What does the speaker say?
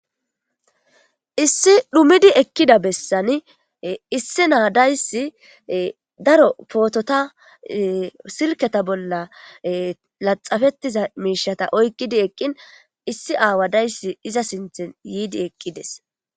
issi dhumidi ekkida bessani issi naadayssi daro pootota silketa bolla laxafettiza miishata oykkidi eqqin issi aawadayssi iza sinthen yiidi eqqides